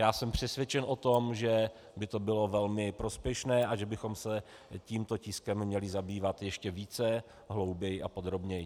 Já jsem přesvědčen o tom, že by to bylo velmi prospěšné a že bychom se tímto tiskem měli zabývat ještě více, hlouběji a podrobněji.